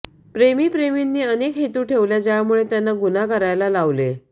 प्रेमी प्रेमींनी अनेक हेतू ठेवल्या ज्यामुळे त्यांना गुन्हा करायला लावले